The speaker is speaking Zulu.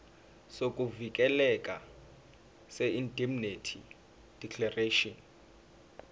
sokuvikeleka seindemnity declaration